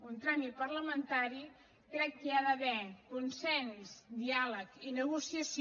un tràmit parlamentari i crec que hi ha d’haver consens diàleg i negociació